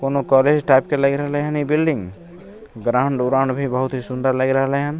कोनो college type के लग रहले हेन इ बिल्डिंग ग्राउड -उराऊड भी बहुत सुन्दर लग रहले हेन --